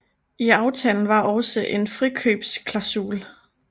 I aftalen var også en frikøbsklasul